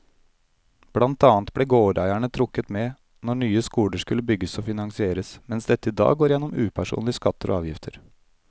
Blant annet ble gårdeierne trukket med når nye skoler skulle bygges og finansieres, mens dette i dag går gjennom upersonlige skatter og avgifter.